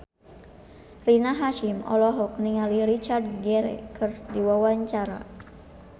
Rina Hasyim olohok ningali Richard Gere keur diwawancara